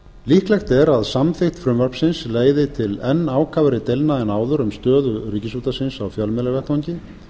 líklegt er að samþykkt frumvarpsins leiði til enn ákafari deilna en áður um stöðu ríkisútvarpsins á fjölmiðlavettvangi